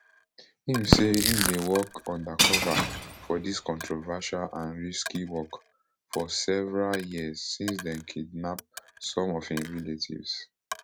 im say im dey work undercover for dis controversial and risky work for several years since dem kidnap some of im relatives